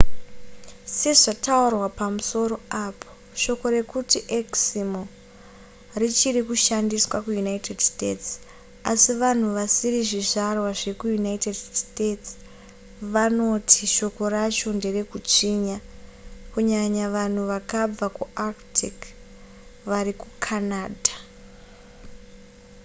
sezvataurwa pamusoro apo shoko rekuti eksimo richiri kushandiswa kuunited states asi vanhu vasiri zvizvarwa zvekuunited states vanoti shoko racho nderekutsvinya kunyanya vanhu vakabva kuarctic vari kucanada